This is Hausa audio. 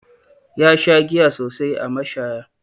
Ya sha giya sosai a mashaya.